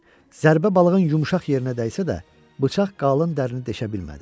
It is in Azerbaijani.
Zərbə balığın yumşaq yerinə dəysə də, bıçaq qalın dərinli deşə bilmədi.